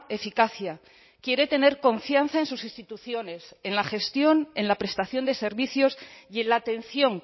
eficacia quiere tener confianza en sus instituciones en la gestión en la prestación de servicios y en la atención